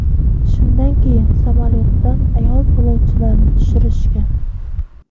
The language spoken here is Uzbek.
Shundan keyin samolyotdan ayol yo‘lovchilarni tushirishgan.